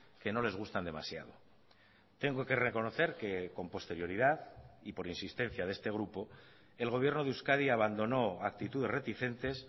que no les gustan demasiado tengo que reconocer que con posterioridad y por insistencia de este grupo el gobierno de euskadi abandonó actitudes reticentes